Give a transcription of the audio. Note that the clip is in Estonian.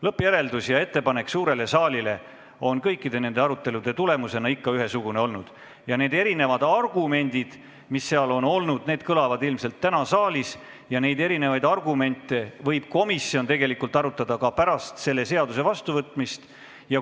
Lõppjäreldus ja ettepanek suurele saalile on kõikide nende arutelude tulemusena ikka ühesugune olnud ning need erinevad argumendid, mis seal on esitatud, kõlavad ilmselt täna ka saalis ja neid erinevaid argumente võib komisjon tegelikult arutada ka pärast selle seaduse vastuvõtmist.